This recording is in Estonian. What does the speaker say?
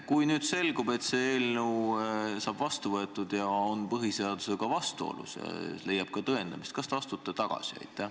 Kui nüüd selgub, et see eelnõu võetakse vastu, aga see on põhiseadusega vastuolus ja see leiab ka tõendamist, siis kas te astute tagasi?